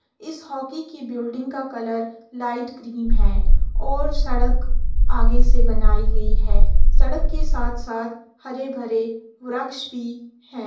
इस होकी की बिल्डिंग का कलर लाइट क्रीम है और सड़क आगे से बनाई गई है। सड़क के साथ-साथ हरे-भरे वरक्ष भी हैं।